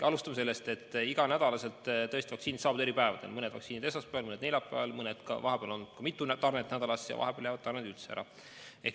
Alustame sellest, et iga nädal tõesti vaktsiinid saabuvad eri päevadel: mõned vaktsiinid esmaspäeval, mõned neljapäeval, vahepeal on mitu tarnet nädalas ja vahepeal jäävad tarned üldse ära.